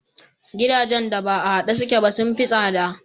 Gidajen da ba a haɗe suke ba sun fi tsada.